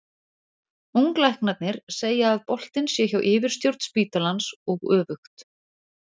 Unglæknarnir segja að boltinn sé hjá yfirstjórn spítalans og öfugt.